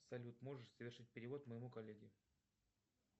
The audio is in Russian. салют можешь совершить перевод моему коллеге